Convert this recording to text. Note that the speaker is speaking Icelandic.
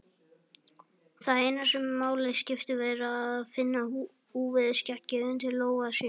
Það eina sem máli skiptir er að finna úfið skeggið undir lófa sínum.